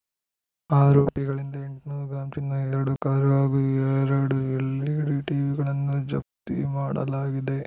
ಆರೋಪಿಗಳಿಂದ ಎಂಟುನೂರು ಗ್ರಾಂ ಚಿನ್ನ ಎರಡು ಕಾರು ಹಾಗೂ ಎರಡು ಎಲ್‌ಇಡಿ ಟಿವಿಗಳನ್ನು ಜಪ್ತಿ ಮಾಡಲಾಗಿದೆ